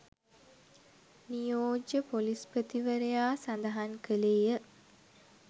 නියෝජ්‍ය පොලිස්පතිවරයා සඳහන් කළේය.